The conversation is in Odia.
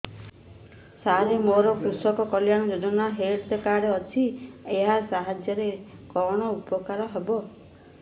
ସାର ମୋର କୃଷକ କଲ୍ୟାଣ ଯୋଜନା ହେଲ୍ଥ କାର୍ଡ ଅଛି ଏହା ସାହାଯ୍ୟ ରେ କଣ ଉପକାର ହବ